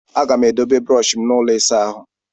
Aga m edobe brọshi m n'ụlọ ịsa ahụ.